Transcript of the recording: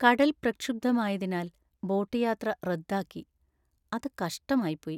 കടൽ പ്രക്ഷുബ്ധമായതിനാൽ ബോട്ട് യാത്ര റദ്ദാക്കി, അത് കഷ്ടമായിപ്പോയി.